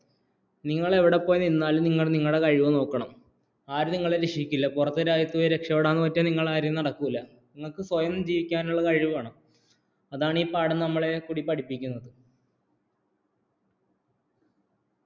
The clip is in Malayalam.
നിങ്ങള്‍ ഇവിടെ പോയി നിന്നാലും നിങ്ങള്‍ നിങ്ങളുടെ കഴിവ് നോക്കണം ആരും നിങ്ങളെ രക്ഷിക്കില്ല പുറത്തു രാജ്യത്ത് പോയി രക്ഷപ്പെടാന്‍ എന്ന് വെച്ചാല്‍ നിങ്ങളുടെ കാര്യം നടക്കില്ല നമ്മുക്ക് സ്വയം ജീവിക്കാനുള്ള കഴിവ് വേണം അതാണ്‌ ഈ പാഠം നമ്മളെ പഠിപ്പിക്കുന്നത്‌